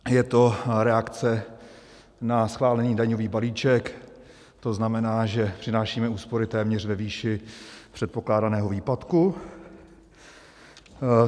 Je to reakce na schválený daňový balíček, to znamená, že přinášíme úspory téměř ve výši předpokládaného výpadku.